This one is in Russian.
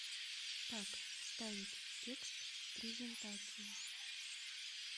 как вставить текст в презентацию